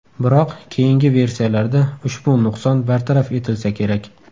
Biroq, keyingi versiyalarda ushbu nuqson bartaraf etilsa kerak.